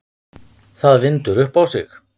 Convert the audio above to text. Það vindur upp á sig.